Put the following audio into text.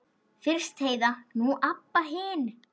Fyrst Heiða, nú Abba hin.